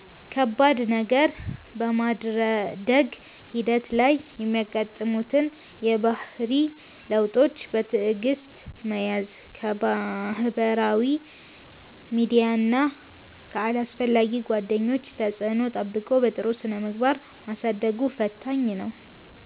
ከባድ ነገር፦ በማደግ ሂደት ላይ የሚያጋጥሙትን የባህሪ ለውጦች በትዕግሥት መያዝ፣ ከማኅበራዊ ሚዲያና ከአላስፈላጊ ጓደኞች ተጽዕኖ ጠብቆ በጥሩ ስነ-ምግባር ማሳደጉ ፈታኝ ነው።